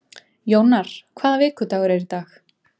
Jónar, hvaða vikudagur er í dag?